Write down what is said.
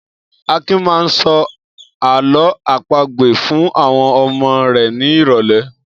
Akin máa ń sọ àlọ́ àpagbè fún àwọn ọmọ rẹ̀ ní ìrọ́lẹ́.